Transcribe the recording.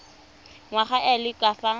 ngwana a le ka fa